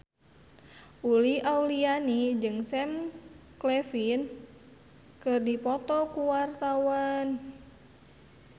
Uli Auliani jeung Sam Claflin keur dipoto ku wartawan